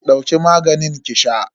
Dauki maganin ki sha